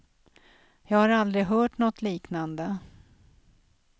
Jag har aldrig hört något liknande.